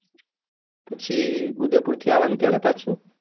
પછી ઉદયપુર થી આવાનું ક્યારે પાછું